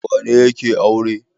Wane ne yake aure?